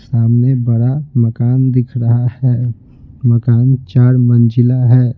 सामने बरा मकान दिख रहा है मकान चार मंजिला है।